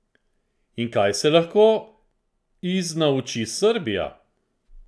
In kaj se lahko iz nauči Srbija?